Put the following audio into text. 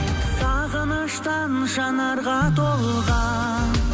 сағыныштан жанарға толған